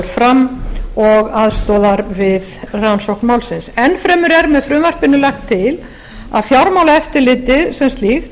fram og aðstoðar við rannsókn málsins enn fremur er með frumvarpinu lagt til að fjármálaeftirlitið sem slíkt